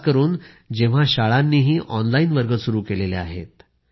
खासकरून जेव्हा शाळांनीही ऑनलाईन वर्ग सुरू केले आहेत